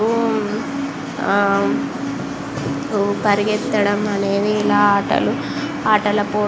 ఆ పరిగెత్తడం అనేది ఇలా ఆటలు ఆటల పోటీ లలో --